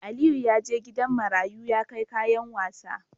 Aliyu yaje gidan marayu ya kai kayan sawa